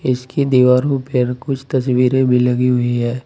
इसकी दीवारों पे कुछ तस्वीरें भी लगी है।